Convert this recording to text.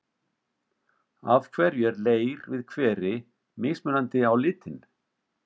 Af hverju er leir við hveri mismunandi á litinn?